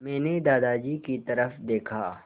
मैंने दादाजी की तरफ़ देखा